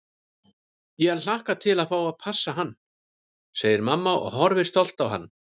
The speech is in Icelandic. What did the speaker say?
Ég hlakka til að fá að passa hann, segir mamma og horfir stolt á hann.